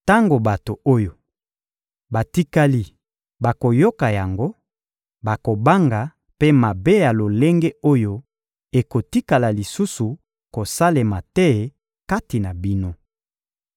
Tango bato oyo batikali bakoyoka yango, bakobanga mpe mabe ya lolenge oyo ekotikala lisusu kosalema te kati na bino.